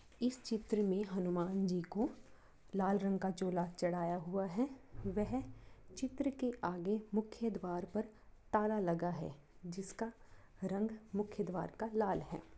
इस चित्र में हनुमान जी को लाल रंग का चोला चड़ाया हुआ है वह चित्र के आगे मुख्य द्वार पर ताला लगा है जिसका रंग मुख्य द्वार का लाल है।